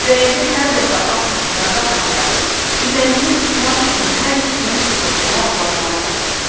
Və indi hər dəfə at üstünə qalxanda, üzəngini tutmaq üçün hər ikisinin bığəburma oğlanları vardı.